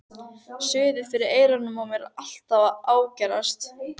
Suðið fyrir eyrunum á mér er alltaf að ágerast.